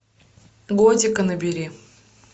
готика набери